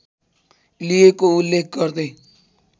लिएको उल्लेख गर्दै